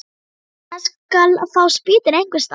Hann skal fá spýtur einhvers staðar.